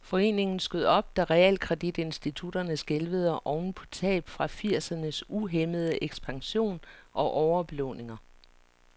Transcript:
Foreningen skød op, da realkreditinstitutterne skælvede oven på tab fra firsernes uhæmmede ekspansion og overbelåninger.